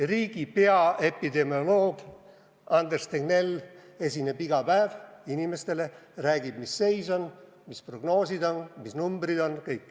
Riigi peaepidemioloog Anders Tegnell esineb iga päev inimestele – räägib, mis seis on, mis prognoosid on, mis numbrid on.